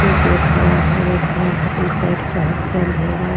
एक लोग खड़ा है रेड कलर का टी-शर्ट पहनके अंधेरा --